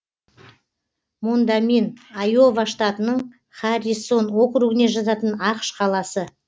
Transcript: мондамин айова штатының харрисон округіне жататын ақш қаласы